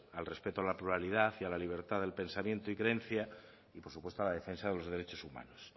al respeto a la pluralidad y a la libertad de pensamiento y creencia y por supuesto a la defensa de los derechos humanos